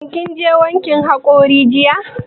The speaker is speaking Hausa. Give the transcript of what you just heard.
Shin kin je wankin haƙori jiya?